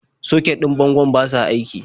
Soket ɗin bangon ba sa aiki.